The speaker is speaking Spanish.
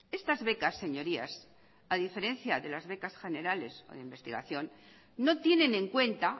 estas becas señorías a diferencia de las becas generales o de investigación no tienen en cuenta